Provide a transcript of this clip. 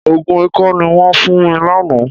Òògùn ikọ́ ni wọ́n fún mi lánàá.